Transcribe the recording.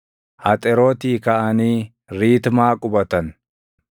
Haxerootii kaʼanii Riitmaa qubatan.